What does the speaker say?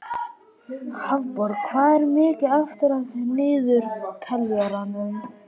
Hafborg, hvað er mikið eftir af niðurteljaranum?